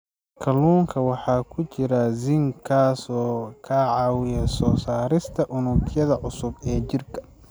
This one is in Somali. Kalluunka waxaa ku jira zinc, kaas oo ka caawiya soo saarista unugyada cusub ee jirka.